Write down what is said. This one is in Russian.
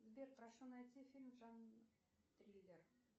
сбер прошу найти фильм жанр триллер